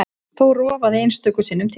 Þó rofaði einstöku sinnum til.